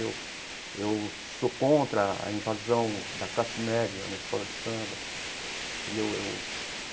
Eu eu sou contra a invasão da classe média na escola de samba entendeu eu.